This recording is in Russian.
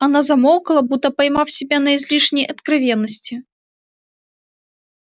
она замолкла будто поймав себя на излишней откровенности